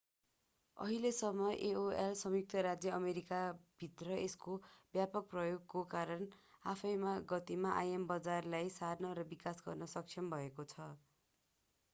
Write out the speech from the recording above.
अहिलेसम्म aol संयुक्त राज्य अमेरिकाभित्र यसको व्यापक प्रयोगको कारण आफ्नै गतिमा im बजारलाई सार्न र विकास गर्न सक्षम भएको छ